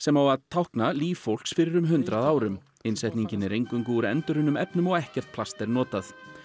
á lífi fólks fyrir um hundrað árum innsetningin er eingöngu úr endurunnum efnum og ekkert plast er notað